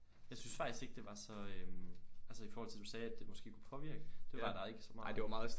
Jeg synes faktisk ikke det var så øh altså i forhold til det du sagde at det måske kunne påvirke det var der der ikke så meget